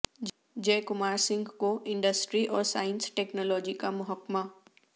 جے کمار سنگھ کو انڈسٹری اور science technology کا محکمہ